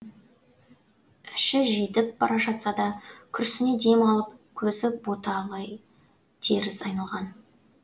іші жидіп бара жатса да күрсіне дем алып көзі боталый теріс айналған